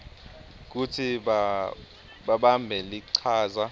kutsi babambe lichaza